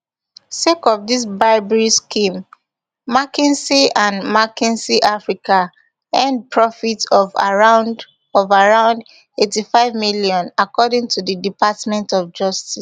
sake of dis bribery scheme mckinsey and mckinsey africa earn profits of around of around eighty-five million according to di department of justice